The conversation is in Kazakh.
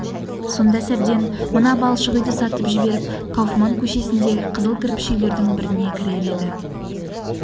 сонда сәбден мына балшық үйді сатып жіберіп кауфман көшесіндегі қызыл кірпіш үйлердің біріне кірер еді